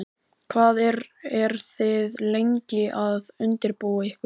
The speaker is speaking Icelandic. Hvað eru þið lengi að undirbúa ykkur?